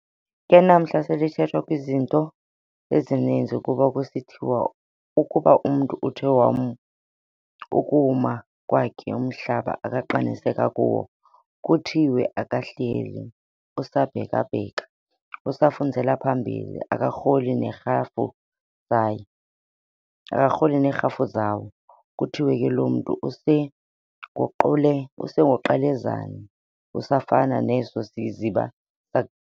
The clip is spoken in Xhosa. Ke namhla selithethwa kwizinto ezininzi, kuba kusithiwa ukuba umntu uthe ukuwuma kwakhe umhlaba akaqiniseka kuwo, kuthiwe akahleli, usabhekabheka, usafunzele phambili, akarholi nerhafu zayo, akarholi nerhafu zawo, kuthiwe lo mntu usenguQelezana, usafana neso siziba saku.